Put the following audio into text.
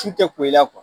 Su tɛ ko i la